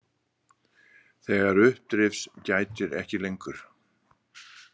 Þegar uppdrifs gætir ekki lengur.